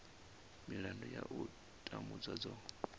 milandu ya u tambudzwa dzo